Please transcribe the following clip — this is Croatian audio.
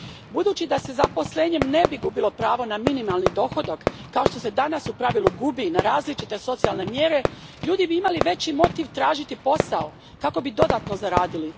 Budući da se zaposlenjem ne bi gubilo pravo na minimalni dohodak kao što se danas u pravilu gubi na različite socijalne mjere, ljudi bi imali veći motiv tražiti posao kako bi dodatno zaradili.